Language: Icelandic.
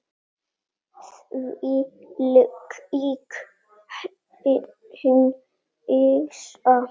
Þvílík hneisa.